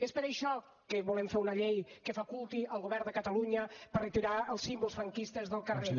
és per això que volem fer una llei que faculti el govern de catalunya per retirar els símbols franquistes del carrer